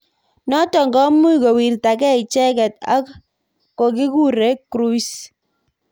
Notok komuch kowirtakei ichekei ak ko kikure Cruise.